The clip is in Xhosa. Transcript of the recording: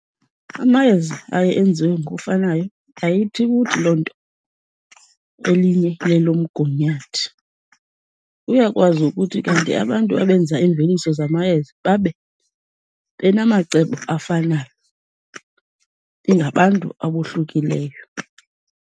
Amayeza aye enziwe ngokufanayo, ayithi ukuthi loo nto elinye lelomgunyathi. Kuyakwazi ukuthi kanti abantu abenza iimveliso zamayeza babe benamacebo afanayo, ingabantu abohlukileyo.